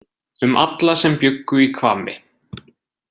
Um alla sem bjuggu í Hvammi.